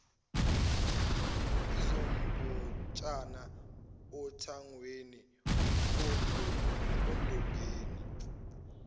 izimbotshana othangweni ondongeni